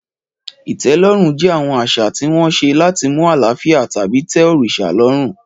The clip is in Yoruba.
Ìtẹ́lọ́rùn jẹ́ àwọn àṣà tí wọ́n ṣe láti mú àlàáfíà tàbí tẹ́ òrìṣà lọ́rùn.